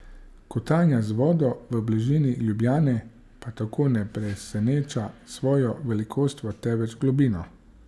Kotanja z vodo v bližini Ljubljane pa tako ne preseneča s svojo velikostjo, temveč globino.